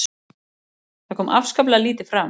Það kom afskaplega lítið fram